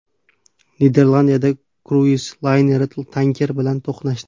Niderlandiyada kruiz layneri tanker bilan to‘qnashdi.